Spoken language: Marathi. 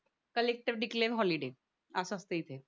कलेक्टर डिक्लेअर हॉलिडे अस असतं इथे